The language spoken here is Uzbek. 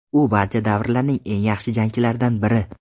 U barcha davrlarning eng yaxshi jangchilaridan biri.